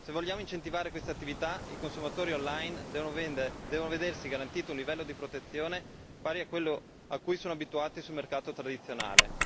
Se vogliamo incentivare questa attività, i consumatori online devono vedersi garantito un livello di protezione pari a quello a cui sono abituati sul mercato tradizionale.